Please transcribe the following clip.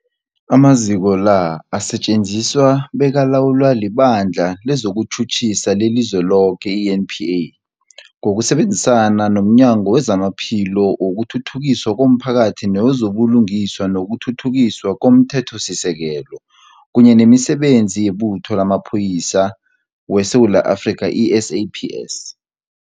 Amaziko la asetjenziswa bekalawulwa liBandla lezokuTjhutjhisa leliZweloke, i-NPA, ngokusebenzisana nomnyango wezamaPhilo, wokuthuthukiswa komphakathi newezo buLungiswa nokuThuthukiswa komThethosisekelo, kunye nemiSebenzi yeButho lamaPholisa weSewula Afrika, i-SAPS.